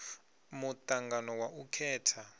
mu angano wa u khetha